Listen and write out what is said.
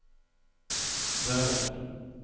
därefter